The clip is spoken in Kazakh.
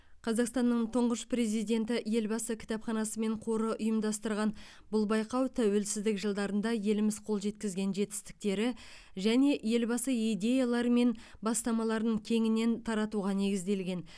қазақстанның тұңғыш президенті елбасы кітапханасы мен қоры ұйымдастырған бұл байқау тәуелсіздік жылдарында еліміз қол жеткізген жетістіктері және елбасы идеялары мен бастамаларын кеңінен таратуға негізделген